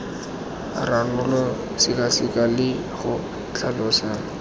ranola sekaseka le go tlhalosa